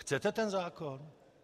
Chcete ten zákon?